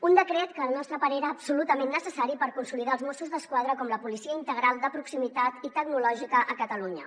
un decret que al nostre parer era absolutament necessari per consolidar els mossos d’esquadra com la policia integral de proximitat i tecnològica a catalunya